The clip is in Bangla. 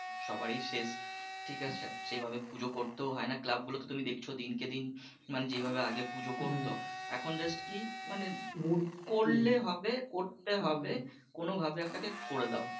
সবারই শেষ, ঠিক আছে, সেইভাবেই পুজোর করতেও হয়না ক্লাব গুলো তেও তুমি দেখছো দিনকে দিন মানে যেই ভাবে আগে পুজো করতো এখন just কী মানে করলে হবে করতে হবে কোনোভাবে একটাকে করে দাও